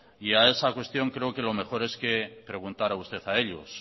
y a esa cuestión creo que lo mejor es que preguntará usted a ellos